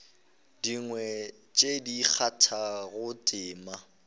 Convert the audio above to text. dingwe tše di kgathago tema